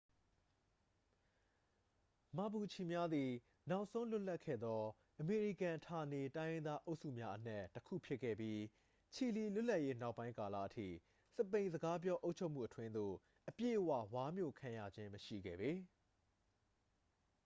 မာပူချီ များသည် နောက်ဆုံးလွတ်လပ်ခဲ့သော အမေရိကန်ဌာနေတိုင်းရင်းသားအုပ်စုများအနက် တစ်ခုဖြစ်ခဲ့ပြီး ချီလီလွတ်လပ်ရေးနောက်ပိုင်းကာလအထိ စပိန်စကားပြောအုပ်ချုပ်မှုအတွင်းသို့ အပြည့်အဝ ဝါးမျိုခံရခြင်းမရှိခဲ့ပေ